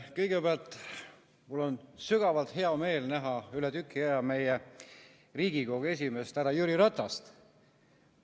Kõigepealt on mul sügavalt hea meel näha üle tüki aja meie Riigikogu esimeest härra Jüri Ratast.